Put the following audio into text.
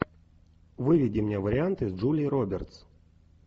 выведи мне варианты с джулией робертс